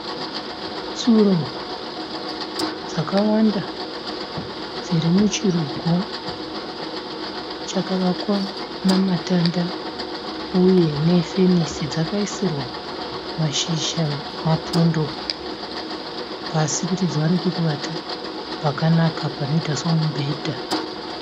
Tsuro dzakawanda dziri muchirugu chakavakwa namatanda uye ne fenisi dzakaisirwa mashizha, mapundo pasi kuti dziwane pekuvata pakanaka panoita semubhedha.